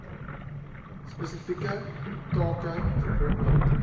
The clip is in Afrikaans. spesifieke take verbonde